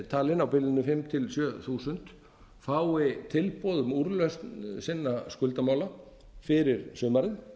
talin á bilinu fimm þúsund til sjö þúsund fái tilboð um úrlausn sinna skuldamála fyrir sumarið